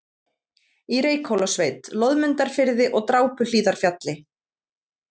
í Reykhólasveit, Loðmundarfirði og Drápuhlíðarfjalli.